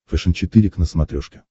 фэшен четыре к на смотрешке